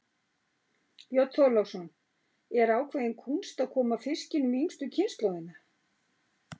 Björn Þorláksson: Er ákveðin kúnst að koma fiskinum í yngstu kynslóðina?